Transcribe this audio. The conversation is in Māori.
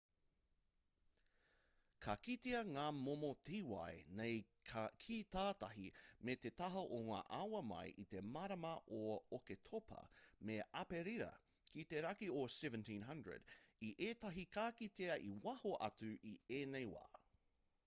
ka kitea ngā momo tīwai nei ki tātahi me te taha o ngā awa mai i te marama o oketopa me aperira ki te raki o 1700 i ētahi ka kitea i waho atu i ēnei wā